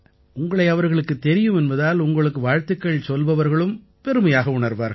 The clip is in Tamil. உங்களை அவர்களுக்குத் தெரியும் என்பதால் உங்களுக்கு வாழ்த்துச் சொல்லுபவர்களும் பெருமையாக உணர்வார்கள்